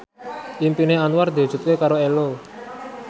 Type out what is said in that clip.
impine Anwar diwujudke karo Ello